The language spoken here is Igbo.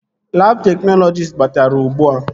Labụ teknọlọjist batara ugbua